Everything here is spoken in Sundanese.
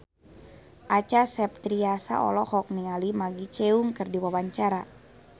Acha Septriasa olohok ningali Maggie Cheung keur diwawancara